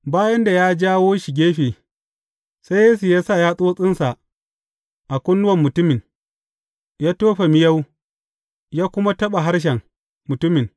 Bayan da ya jawo shi gefe, sai Yesu ya sa yatsotsinsa a kunnuwan mutumin, ya tofa miyau ya kuma taɓa harshen mutumin.